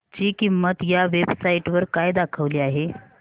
ची किंमत या वेब साइट वर काय दाखवली आहे